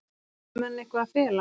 Höfðu menn eitthvað að fela?